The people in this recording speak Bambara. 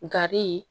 Gari